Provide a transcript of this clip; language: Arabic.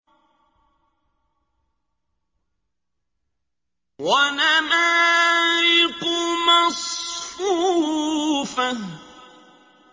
وَنَمَارِقُ مَصْفُوفَةٌ